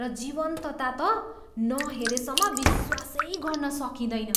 र जीवन्तता त नहेरेसम्म विश्वासै गर्न सकिँदैन।